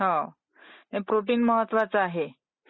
हो .. ते प्रोटीन महत्त्वाच आहे ?